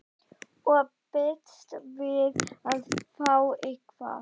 Og býst við að fá eitthvað?